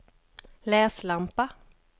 läslampa